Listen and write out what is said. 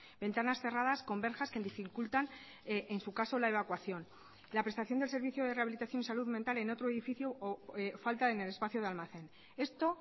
ventanas cerradas con verjas que dificultan en su caso la evacuación la prestación del servicio de rehabilitación salud mental en otro edificio o falta en el espacio de almacén esto